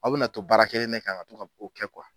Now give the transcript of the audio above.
Aw be na na to baara kelen ne kan ka to ka k'o kɛ kuwa